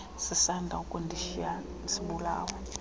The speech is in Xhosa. sisanda ukundishiya sibulawa